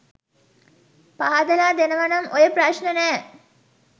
පහදලා දෙනවනම් ඔය ප්‍රශ්න නෑ